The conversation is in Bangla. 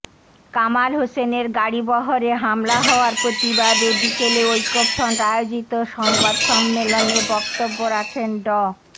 কামাল হোসেনের গাড়িবহরে হামলা হওয়ার প্রতিবাদে বিকেলে ঐক্যফ্রন্ট আয়োজিত সংবাদ সম্মেলনে বক্তব্য রাখেন ড